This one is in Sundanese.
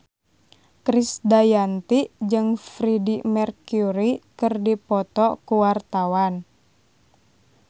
Krisdayanti jeung Freedie Mercury keur dipoto ku wartawan